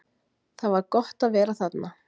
Það var gott að vera þarna.